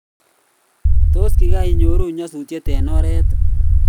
tos kikainyoruu nyasutet eng oret